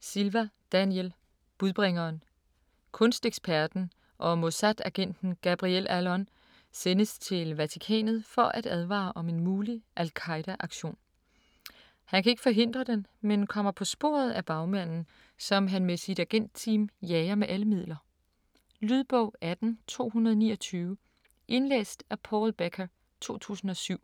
Silva, Daniel: Budbringeren Kunsteksperten og Mossad-agenten Gabriel Allon sendes til Vatikanet for at advare om en mulig al-Qaeda aktion. Han kan ikke forhindre den, men kommer på sporet af bagmanden, som han med sit agentteam jager med alle midler. Lydbog 18229 Indlæst af Paul Becker, 2007.